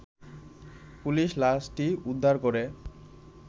police লাশটি উদ্ধার করে